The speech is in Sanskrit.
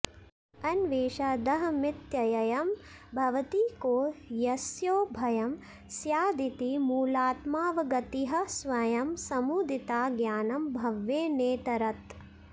अन्वेषादहमित्ययं भवति को यस्योभयं स्यादिति मूलात्मावगतिः स्वयं समुदिता ज्ञानं भवेन्नेतरत्